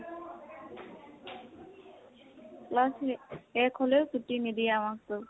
class শেষ শেষ হলেও ছুটী নিদিয়ে আমাকটো।